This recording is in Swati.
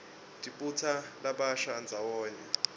tibutsa labasha ndzawonye